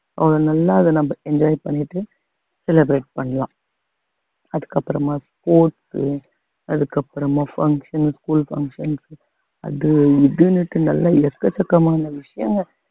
நல்லா அத நம்ம enjoy பண்ணிட்டு celebrate பண்ணலாம் அதுக்கப்புறமா sports உ அதுக்கு அப்புறமா function school functions அது இதுன்னுட்டு நல்லா எக்கச்சக்கமான விஷயம்